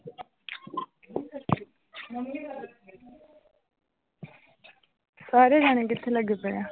ਸਾਰੇ ਜਾਣੇ ਕਿੱਥੇ ਲੱਗੇ ਪਏ ਆ।